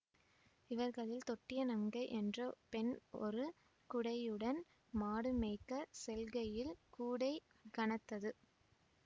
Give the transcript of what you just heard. இவர்களில் தொட்டிய நங்கை என்ற பெண் ஒரு குடையுடன் மாடு மேய்க்க செல்கையில் கூடை கனத்தது